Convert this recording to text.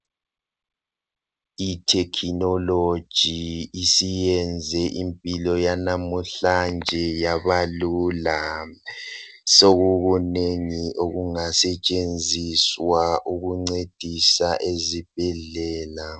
Ithekhinoloji isiyenze impilo yanamhlanje yabalula sokukunengi okungasetshenziswa ukuncedisa ezibhedlela.